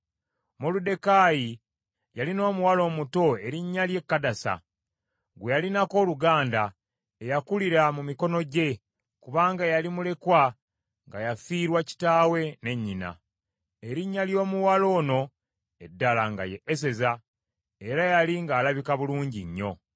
Moluddekaayi yalina omuwala omuto erinnya lye Kadasa, gwe yalinako oluganda, eyakulira mu mikono gye, kubanga yali mulekwa nga yafiirwa kitaawe ne nnyina. Erinnya ly’omuwala ono eddala nga ye Eseza, era yali ng’alabika bulungi nnyo.